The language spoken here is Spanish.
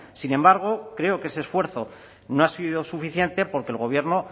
sin embargo creo que ese esfuerzo no ha sido suficiente porque el gobierno